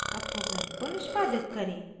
अब program को निष्पादित करें